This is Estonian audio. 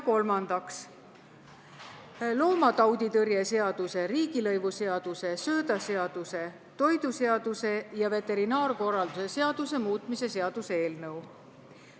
Kolmandaks, loomatauditõrje seaduse, riigilõivuseaduse, söödaseaduse, toiduseaduse ja veterinaarkorralduse seaduse muutmise seaduse eelnõu.